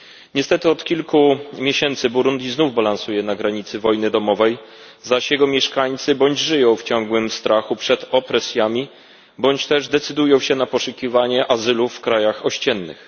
Niestety, od kilku miesięcy Burundi znów balansuje na granicy wojny domowej, zaś jego mieszkańcy bądź żyją w ciągłym strachu przed opresjami, bądź też decydują się na poszukiwanie azylu w krajach ościennych.